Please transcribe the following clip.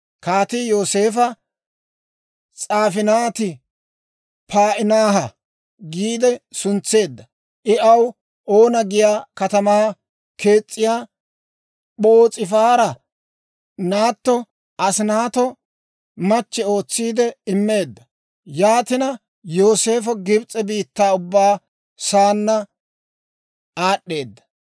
Kaatii Yooseefa, «S'aafinaati-Pa'inaaha» giide suntseedda; I aw Oona giyaa katamaa k'eesiyaa P'oos'ifaara naatto Asinaato machche ootsi immeedda. Yaatina Yooseefo Gibs'e biittaa ubbaa saanna aad'd'eedda.